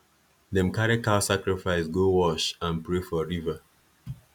them carry cow sacrifice go wash and pray for river